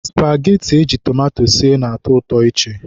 Spageti eji tomato sie na-atọ ụtọ iche.